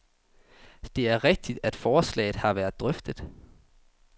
Det er rigtigt, at forslaget har været drøftet.